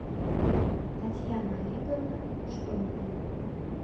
татьяна олеговна штомпель